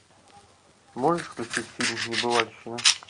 можешь включить фильм небывальщина